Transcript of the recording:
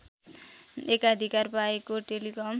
एकाधिकार पाएको टेलिकम